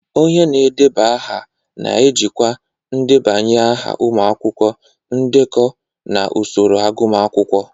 Onye na-edeba aha na-ejikwa ndebanye aha ụmụ akwụkwọ, ndekọ, na usoro agụmakwụkwọ.